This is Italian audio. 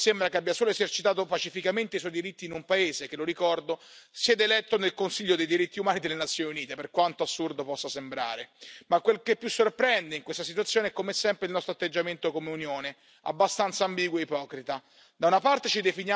In realtà, a noi sembra che abbia solo esercitato pacificamente i suoi diritti in un paese che, lo ricordo, siede eletto nel Consiglio dei diritti umani delle Nazioni Unite, per quanto assurdo possa sembrare, ma quel che più sorprende in questa situazione è come sempre il nostro atteggiamento come Unione, abbastanza ambiguo e ipocrita.